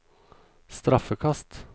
straffekast